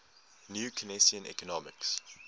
new keynesian economics